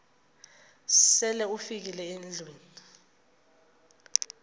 sele ufikile endlwini